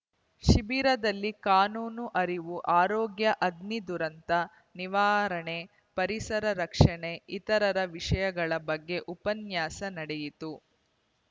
ಶಿಬಿರದಲ್ಲಿ ಕಾನೂನು ಅರಿವು ಆರೋಗ್ಯ ಅಗ್ನಿ ದುರಂತ ನಿವಾರಣೆ ಪರಿಸರ ರಕ್ಷಣೆ ಇತರರ ವಿಶೇಷಗಳ ಬಗ್ಗೆ ಉಪನ್ಯಾಸ ನಡೆಯಿತು